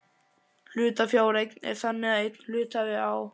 Hlutafjáreign er þannig að einn hluthafi á